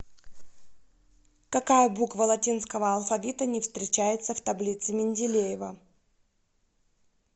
какая буква латинского алфавита не встречается в таблице менделеева